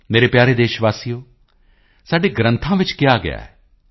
ਮੇਰੇ ਪਿਆਰੇ ਦੇਸ਼ ਵਾਸੀਓ ਸਾਡੇ ਗ੍ਰੰਥਾਂ ਵਿੱਚ ਕਿਹਾ ਗਿਆ ਹੈ